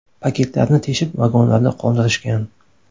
Paketlarni teshib vagonlarda qoldirishgan.